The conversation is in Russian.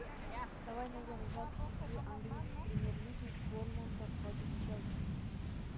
давай найдем запись игры английской премьер лиги борнмута против челси